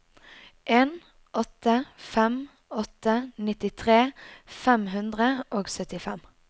en åtte fem åtte nittitre fem hundre og syttifem